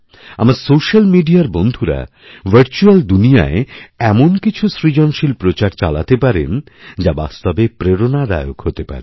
আমার সোস্যাল মিডিয়ার বন্ধুরা ভার্চুয়্যাল দুনিয়ায় এমন কিছুসৃজনশীল প্রচার চালাতে পারেন যা বাস্তবে প্রেরণাদায়ক হতে পারে